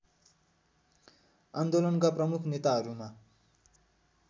आन्दोलनका प्रमुख नेताहरूमा